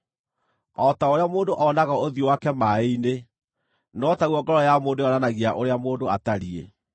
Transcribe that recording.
O ta ũrĩa mũndũ onaga ũthiũ wake maaĩ-inĩ, no taguo ngoro ya mũndũ yonanagia ũrĩa mũndũ atariĩ.